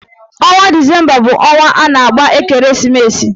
Ọnwa disemba bụ ọnwa a na-agba ekereesimesi